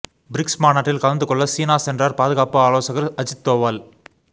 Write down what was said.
BRICS மாநாட்டில் கலந்து கொள்ள சீனா சென்றார் பாதுகாப்பு ஆலோசகர் அஜித் தோவல்